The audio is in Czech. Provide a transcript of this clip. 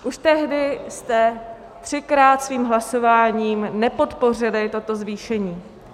Už tehdy jste třikrát svým hlasováním nepodpořili toto zvýšení.